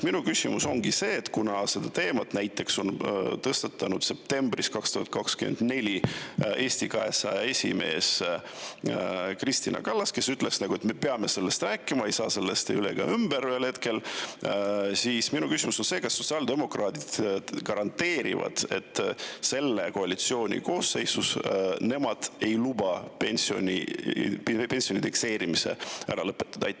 Minu küsimus ongi see – näiteks tõstatas selle teema septembris 2024 Eesti 200 esimees Kristina Kallas, kes ütles, et me peame sellest rääkima, me ei saa sellest üle ega ümber ühel hetkel –, kas sotsiaaldemokraadid garanteerivad, et selle koalitsiooni koosseisus nemad ei luba pensionide indekseerimist ära lõpetada.